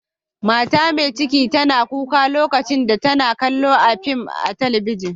Mata Mai cikin tana kuka lokacin da tana kalla'n fim a'telibijin.